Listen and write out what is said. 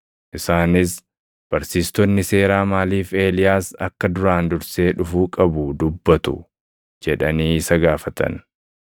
Isaanis, “Barsiistonni seeraa maaliif Eeliyaas akka duraan dursee dhufuu qabu dubbatu?” jedhanii isa gaafatan.